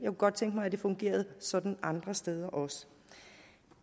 godt tænke mig at det fungerede sådan andre steder også